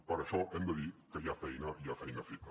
per això hem de dir que hi ha feina i hi ha feina feta